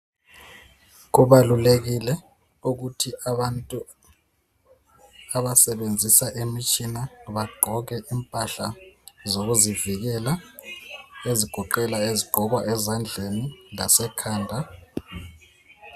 Kubalulekile ukuthi abantu abasebenzisa imitshina bagqoke impahla zokuzivikela ezigoqela izigqoko ezandleni lasekhanda